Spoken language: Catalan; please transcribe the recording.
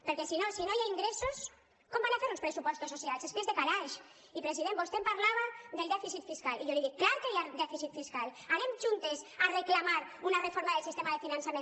perquè si no hi ha ingressos com faran uns pressupostos socials és que és de calaix i president vostè em parlava del dèficit fiscal i jo li dic clar que hi ha dèficit fiscal anem juntes a reclamar una reforma del sistema de finançament